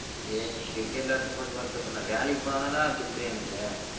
ஏ நீ cricket விளையாட போறதுக்கு வறுத்த படுற நான் வேலைக்கு போன தான் டா துட்டு எனக்கு